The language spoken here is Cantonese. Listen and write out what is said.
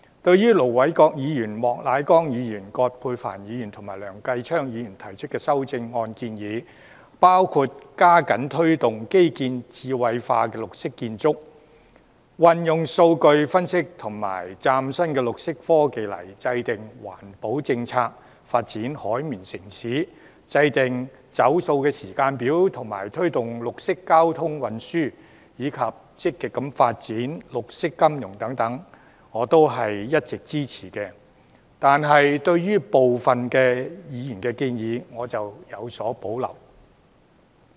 對於盧偉國議員、莫乃光議員、葛珮帆議員及梁繼昌議員提出的修正案建議，包括加緊推動基建智慧化和綠色建築、運用數據分析及嶄新綠色科技來制訂環保政策；發展"海綿城市"、制訂"走塑"時間表及推動綠色交通運輸，以及積極發展綠色金融等，我都是一直支持的，但對於部分議員的建議，我則有所保留。